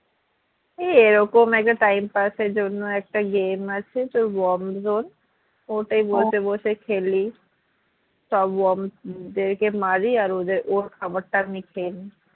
এই এরকম একটা time pass এর জন্য একটা game আছে তোর ওয়ার্ম জোন ওটাই বসে খেলি সব warms উম দেরকে মারি আর ওদের ওর খাবারটা আমি খেয়ে নিই